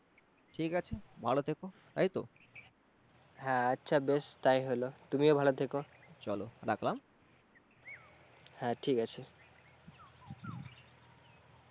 ঠিক আছে, ভালো থেকো। তাইতো, হ্যাঁ আচ্ছা বেশ তাই হইলো, তুমিও ভালো থেক, চল রাখলাম হ্যাঁ ঠিক আছে।